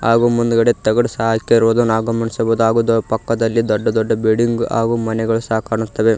ಹಾಗೂ ಮುಂದ್ಗಡೆ ತಗಡ ಸಹ ಹಾಕಿರುದು ನಾವು ಗಮನಿಸಬಹುದು ಪಕ್ಕದಲ್ಲಿ ದೊಡ್ಡ ದೊಡ್ಡ ಮನೆ ಸಹ ಕಾಣಿಸ್ತಾವೆ.